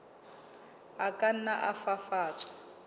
a ka nna a fafatswa